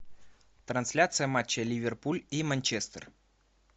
трансляция матча ливерпуль и манчестер